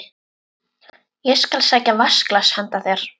Ég skal sækja vatnsglas handa þér